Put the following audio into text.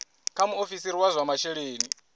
kha muofisiri wa zwa masheleni